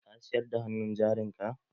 Ka siyar da hannun jarin ka?